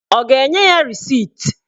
Ọ ga-enye ya resit?